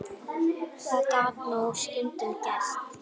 Það gat jú stundum gerst!